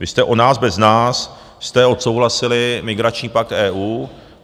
Vy jste o nás, bez nás, jste odsouhlasili migrační pakt EU.